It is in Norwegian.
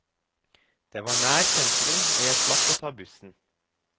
Det var nær sentrum og jeg slapp å ta bussen.